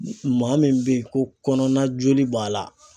Maa min bɛ yen ko kɔnɔna joli b'a la